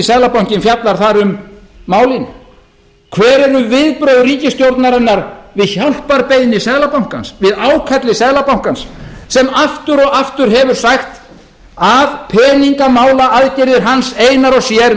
seðlabankinn fjallar þar um málin hver eru viðbrögð ríkisstjórnarinnar við hjálparbeiðni seðlabankans við ákalli seðlabankans sem aftur og aftur hefur sagt að peningamálaaðgerðir hans einar og sér